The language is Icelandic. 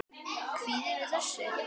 Kvíðirðu þessu?